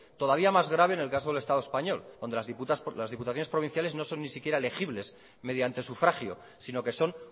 todavía más grave en el caso del estado español donde las diputaciones provinciales no son ni siquiera legibles mediante sufragio sino que son